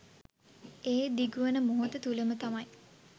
ඒ දිගුවන මොහොත තුළම තමයි.